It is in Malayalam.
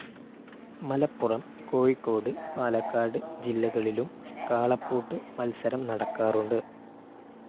മലപ്പുറം, കോഴിക്കോട്, പാലക്കാട് ജില്ലകളിലും കാളപ്പൂട്ട് മത്സരം നടക്കാറുണ്ട്.